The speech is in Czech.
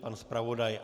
Pan zpravodaj?